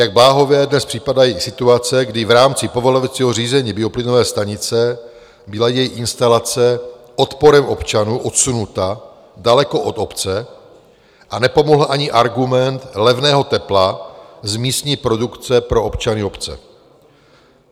Jak bláhové dnes připadají situace, kdy v rámci povolovacího řízení bioplynové stanice byla její instalace odporem občanů odsunuta daleko od obce a nepomohl ani argument levného tepla z místní produkce pro občany obce.